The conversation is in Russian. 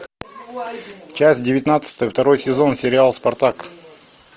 часть девятнадцатая второй сезон сериал спартак